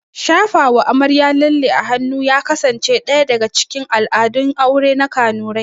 Shafawa amarya lalle a hannu ya kasance ɗaya daga cikin al'adun aure na kanurai